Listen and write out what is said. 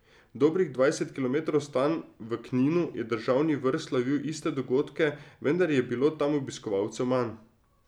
Dobrih dvajset kilometrov stran, v Kninu, je državni vrh slavil iste dogodke, vendar je bilo tam obiskovalcev manj.